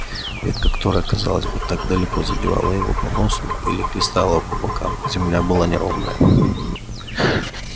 ветка которая казалось была так далеко задевала его по носу или хлестала по бокам земля была неровная